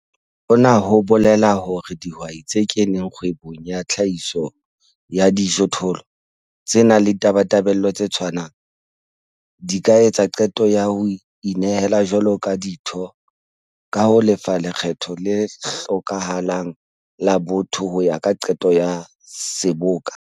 Hona ho bolela hore dihwai tse keneng kgwebong ya tlhahiso ya dijothollo, tse nang le ditabatabelo tse tshwanang, di ka etsa qeto ya ho inehela jwalo ka ditho ka ho lefa lekgetho le hlokahalang la botho ho ya ka qeto ya Seboka.